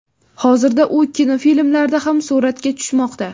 Hozirda u kinofilmlarda ham suratga tushmoqda.